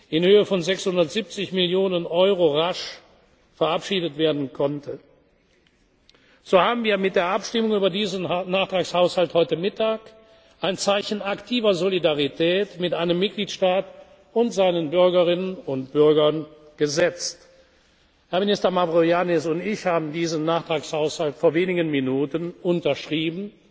für die Erdbebenopfer in Italien in Höhe von 670 Millionen Euro rasch verabschiedet werden konnte. So haben wir mit der Abstimmung über diesen Nachtragshaushalt heute Mittag ein Zeichen aktiver Solidarität mit einem Mitgliedstaat und seinen Bürgerinnen und Bürgern gesetzt. Herr Minister Mavroyiannis und ich haben diesen Nachtragshaushalt